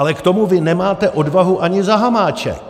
Ale k tomu vy nemáte odvahu ani za hamáček.